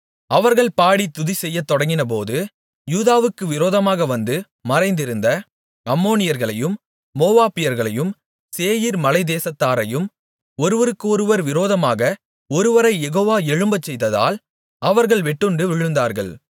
அவர்கள் பாடித் துதிசெய்யத் தொடங்கினபோது யூதாவுக்கு விரோதமாக வந்து மறைந்திருந்த அம்மோனியர்களையும் மோவாபியர்களையும் சேயீர் மலைத்தேசத்தாரையும் ஒருவருக்கு விரோதமாக ஒருவரைக் யெகோவா எழும்பச்செய்ததால் அவர்கள் வெட்டுண்டு விழுந்தார்கள்